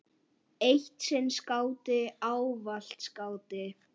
Eitt sinn skáti, ávallt skáti.